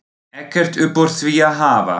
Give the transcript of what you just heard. Ekkert upp úr því að hafa!